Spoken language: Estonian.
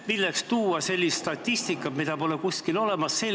Milleks tuua sellist statistikat, mida pole kuskil olemas?